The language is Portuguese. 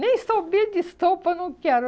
Nem de estopa, eu não quero.